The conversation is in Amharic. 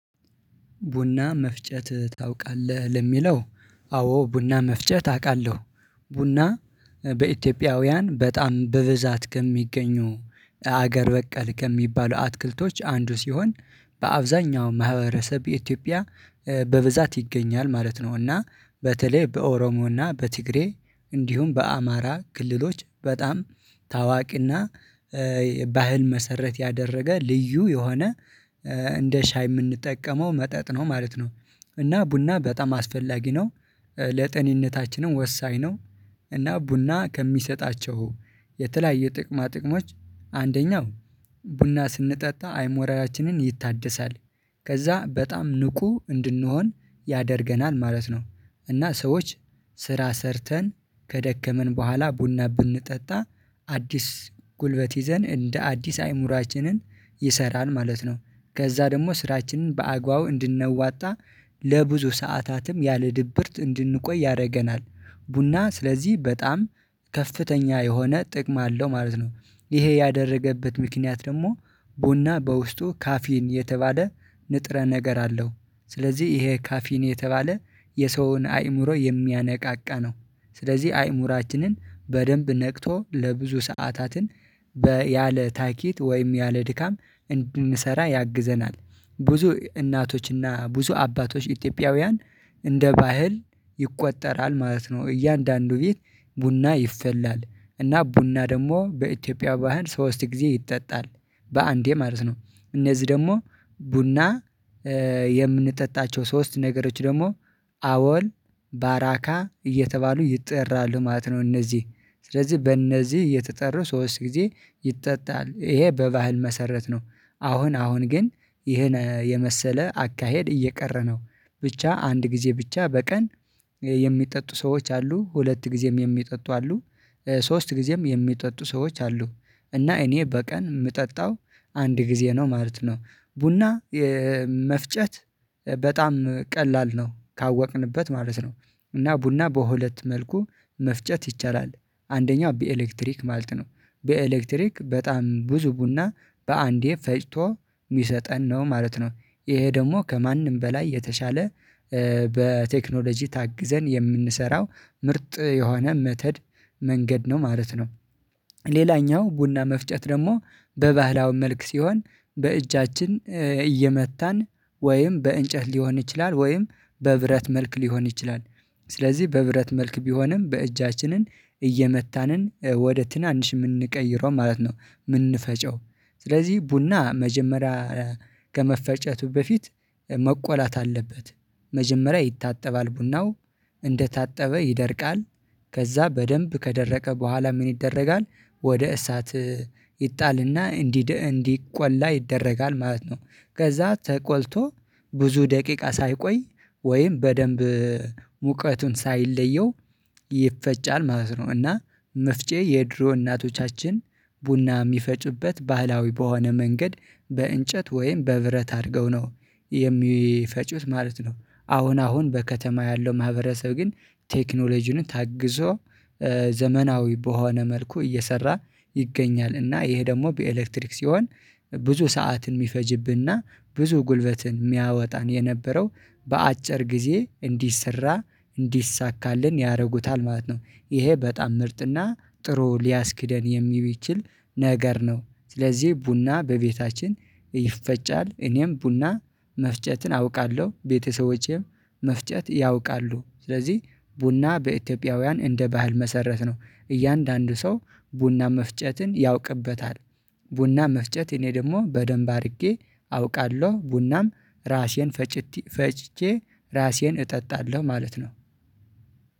ቡና መፍጨት ታውቃለህ? የሚለው አዎ ቡና መፍጨት አውቃለሁ ቡና በኢትዮጵያውያን በጣም በብዛት ከሚገኙ ሀገር በቀል ከሚባሉ አትክልቶች አንዱ ሲሆን በአብዛኛው ማህበረሰብ በኢትዮጵያ በብዛት ይገኛል ማለት ነው እና በተለይ በኦሮሞና በትግሬ እንዲሁም በአማራ ክልሎች በጣም ታዋቂና ባህል መሰረት ያደረገ ልዩ የሆነ እንደ ሻይ የምንጠቀመው መጠጥ ነው ማለት ነው እና ቡና በጣም አስፈላጊ ነው ለጤንነታችንም ወሳኝ ነው እና ቡና ከሚሰጣቸው የተለያየ ጥቅማ ጥቅሞች አንደኛው ቡና ስንጠጣ አይሞራላችንን ይታደሳል ከዛ በጣም ንቁ እንድንሆን ያደርገናል ማለት ነው እና ሰዎች ስራ ሰርተን ከደከምን በኋላ ቡና ብንጠጣ አዲስ ጉልበት ይዘን እንደ አዲስ አእምሮአችንን ይሰራል ማለት ነው ከዛ ደግሞ ስራችንን በአግባቡ እንድንዋጣ ለብዙ ሰዓታትም ያለ ድብርት እንድንቆይ ያደርገናል ቡና ስለዚህ በጣም ከፍተኛ የሆነ ጥቅም አለው ማለት ነው ይሄ ያደረገበት ምክንያት ደግሞ ቡና በውስጡ ካፊን የተባለ ንጥረ ነገር አለው ስለዚህ ይሄ ካፊን የተባለ የሰውን አእምሮ የሚያነቃቃ ነው ስለዚህ አእምሯችንን በደንብ ነቅቶ ለብዙ ሰዓታትን በ ያለ ታኬት ወይም ያለ ድካም እንድንሠራ ያግዘናል ብዙ እናቶችና ብዙ አባቶች ኢትዮጵያውያን እንደ ባህል ይቆጠራል ማለት ነው እያንዳንዱ ቤት ቡና ይፈላል እና ቡና ደግሞ በኢትዮጵያ ባህል ሶስት ጊዜ ይጠጣል በአንዴ ማለት ነው እነዚህ ደግሞ ቡና የምንጠጣቸው ሶስት ነገሮች ደግሞ አቦል ባራካ እየተባሉ ይጠራሉ ማለት ነው እነዚህ ስለዚህ በእነዚህ እየተጠሩ ሶስት ጊዜ ይጠጣል ይሄ በባህል መሰረት ነው አሁን አሁን ግን ይሄን የመሰለ አካሄድ እየቀረ ነው ብቻ አንድ ጊዜ ብቻ በቀን የሚጠጡ ሰዎች አሉ ሁለት ጊዜም የሚጠጡ አሉ ሶስት ጊዜም የሚጠጡ ሰዎች አሉ እና እኔ በቀን የምጠጣው አንድ ጊዜ ነው ማለት ነው ቡና መፍጨት በጣም ቀላል ነው ካወቅንበት ማለት ነው እና ቡና በሁለት መልኩ መፍጨት ይቻላል አንደኛው በኤሌክትሪክ ማለት ነው በኤሌክትሪክ በጣም ብዙ ቡና በአንዴ ፈጭቶ የሚሰጠን ነው ማለት ነው ይሄ ደግሞ ከማንም በላይ የተሻለ በቴክኖሎጂ ታግዘን የምንሰራው ምርጥ የሆነ መተድ መንገድ ነው ማለት ነው ሌላኛው ቡና መፍጨት ደግሞ በባህላዊ መልክ ሲሆን በእጃችን እየመታን ወይም በእንጨት ሊሆን ይችላል ወይም በብረት መልክ ሊሆን ይችላል ስለዚህ በብረት መልክ ቢሆንም በእጃችንን እየመታንን ወደ ትናንሽ የምንቀይረው ማለት ነው የምንፈጨው ስለዚህ ቡና መጀመሪያ ከመፈጨቱ በፊት መቆላት አለበት መጀመሪያ ይታጠባል ቡናው እንደታጠበ ይደርቃል ከዛ በደንብ ከደረቀ በኋላ ምን ይደረጋል ወደ እሳት ይጣልና እንዲድ እንዲቆላ ይደረጋል ማለት ነው ከዛ ተቆልቶ ብዙ ደቂቃ ሳይቆይ ወይም በደንብ ሙቀቱን ሳይለየው ይፈጫል ማለት ነው እና መፍጨት የድሮ እናቶቻችን ቡና የሚፈጩበት ባህላዊ በሆነ መንገድ በእንጨት ወይም በብረት አድርገው ነው የሚፈጩት ማለት ነው አሁን አሁን በከተማ ያለው ማህበረሰብ ግን ቴክኖሎጂን ታግዞ ዘመናዊ በሆነ መልኩ እየሠራ ይገኛል እና ይሄ ደግሞ በኤሌክትሪክ ሲሆን ብዙ ሰዓትን የሚፈጅብንና ብዙ ጉልበትን የሚያወጣን የነበረው በአጭር ጊዜ እንዲሰራ እንዲሳካልን ያደርጉታል ማለት ነው ይሄ በጣም ምርጥና ጥሩ ሊያስኬደን የሚችል ነገር ነው ስለዚህ ቡና በቤታችን ይፈጫል እኔም ቡና መፍጨትን አውቃለሁ ቤተሰቦቼም መፍጨት ያውቃሉ ስለዚህ ቡና በኢትዮጵያውያን እንደ ባህል መሰረት ነው እያንዳንዱ ሰው ቡና መፍጨትን ያውቅበታል ቡና መፍጨት እኔ ደግሞ በደንብ አድርጌ አውቃለሁ ቡናም ራሴን ፈጭቴ ፈጭቼ ራሴን እጠጣለሁ ማለት ነው